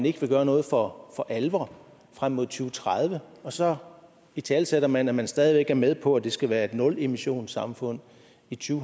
ikke gøre noget for alvor frem mod to tredive og så italesætter man at man stadig væk er med på at det skal være et nulemissionssamfund i to